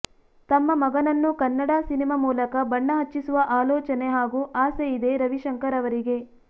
ತಮ್ಮ ಮಗನನ್ನು ಕನ್ನಡ ಸಿನಿಮಾ ಮೂಲಕ ಬಣ್ಣ ಹಚ್ಚಿಸುವ ಆಲೋಚನೆ ಹಾಗು ಅಸೆ ಇದೆ ರವಿಶಂಕರ್ ಅವರಿಗೆ